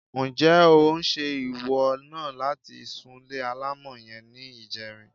Ǹjé̩ ó ń s̩̣e ìwọ̩ náà láti súnle alámò̩ ye̩n ní ìje̩rin?